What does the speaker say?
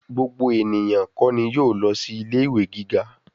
Gbogbo ènìyàn kó ni yóò lọ sí ilé ìwé gíga.